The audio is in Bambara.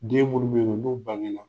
Den munnu be yen nɔ n'u bange na